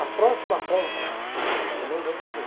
A próxima compra, eu não vou fazer.